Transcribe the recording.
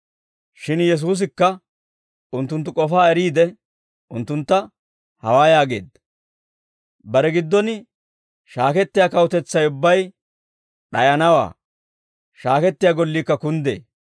Shin Yesuusikka unttunttu k'ofaa eriide unttuntta hawaa yaageedda: «Bare giddon shaakettiyaa kawutetsay ubbay d'ayanawaa; shaakettiyaa golliikka kunddee.